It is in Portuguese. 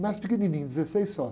Mais pequenininho, dezesseis só.